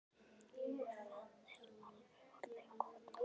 Og það er alveg orðið gott núna.